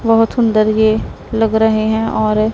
बहुत सुंदर ये लग रहे हैं और--